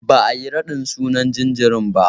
Ba'a yi raɗin sunan jinjirin ba.